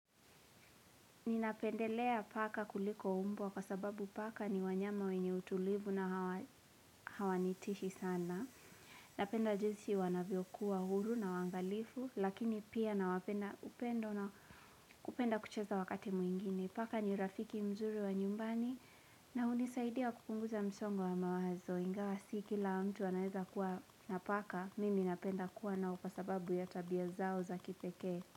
Ninapendelea paka kuliko umbwa, kwa sababu paka ni wanyama wenye utulivu na hawanitishi sana Napenda jinsi wanavyo kuwa huru na waangalifu lakini pia nawapenda upendo na kupenda kucheza wakati mwingine, paka ni rafiki mzuri wa nyumbani na hunisaidia kupunguza msongo wa mawazo, ingawa si kila mtu anaweza kuwa na paka, mimi napenda kuwa nao kwa sababu ya tabia zao za kipekee.